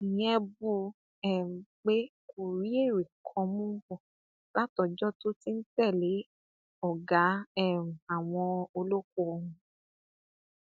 ìyẹn bù um ú pé kó rí èrè kan mú bọ látọjọ tó ti ń tẹlé ọgá um àwọn olóko ọhún